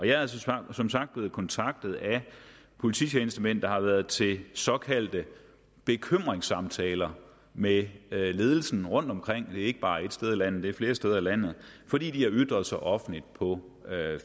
jeg er altså som sagt blevet kontaktet af polititjenestemænd der har været til såkaldte bekymringssamtaler med ledelsen rundtomkring det er ikke bare et sted i landet det er flere steder i landet fordi de har ytret sig offentligt på